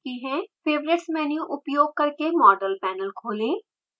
favorites menu उपयोग करके model panel खोलें